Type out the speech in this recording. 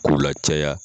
K'u lacaya